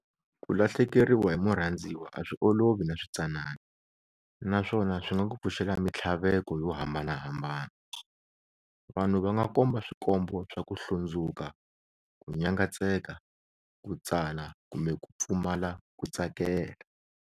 Ku lahlekeriwa hi murhandziwa a swi olovi naswitsanana naswona swi nga ku pfuxela mitlhaveko yo hambanahambana. Vanhu va nga komba swikombo swa ku hlundzuka, ku nyangatseka, ku tsana kumbe ku pfumala ku tsakela.